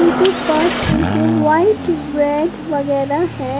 पास इनके वाइट वगैरह है।